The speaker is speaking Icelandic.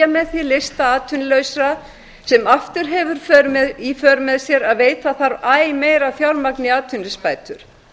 með því lista atvinnulausra sem aftur hefur í för með sér að veita þarf æ meira fjármagni í atvinnuleysisbætur